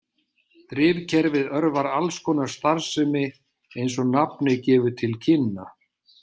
Drifkerfið örvar alls konar starfsemi eins og nafnið gefur til kynna.